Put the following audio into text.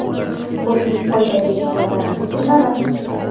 Go‘shtning foydali va zararli turlari.